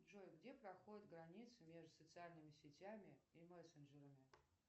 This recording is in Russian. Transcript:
джой где проходит граница между социальными сетями и мессенджерами